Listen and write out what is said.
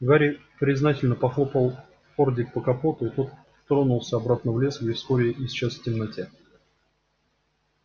гарри признательно похлопал фордик по капоту и тот тронулся обратно в лес где вскоре исчез в темноте